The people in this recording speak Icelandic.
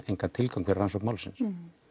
engan tilgang fyrir rannsókn málsins